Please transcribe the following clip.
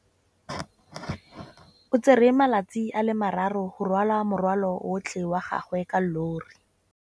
O tsere malatsi a le marraro go rwala morwalo otlhe wa gagwe ka llori.